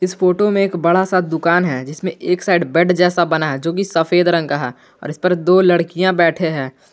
इस फोटो में एक बड़ा सा दुकान है जिसमें एक साइड बेड जैसा बना है जो की सफेद रंग का है और इस पर दो लड़कियां बैठे हैं।